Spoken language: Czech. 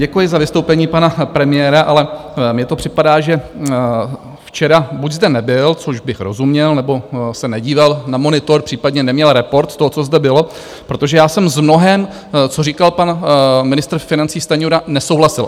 Děkuji za vystoupení pana premiéra, ale mně to připadá, že včera buď zde nebyl, čemuž bych rozuměl, nebo se nedíval na monitor, případně neměl report toho, co zde bylo, protože já jsem s mnohým, co říkal pan ministr financí Stanjura, nesouhlasil.